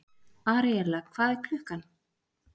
Aríella, hvað er klukkan?